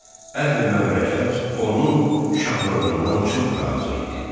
Əhli məmləkət onun şahlığından çox razı idi.